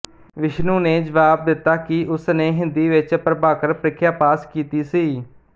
ਵਿਸ਼ਨੂੰ ਨੇ ਜਵਾਬ ਦਿੱਤਾ ਕਿ ਉਸਨੇ ਹਿੰਦੀ ਵਿੱਚ ਪ੍ਰਭਾਕਰ ਪ੍ਰੀਖਿਆ ਪਾਸ ਕੀਤੀ ਸੀ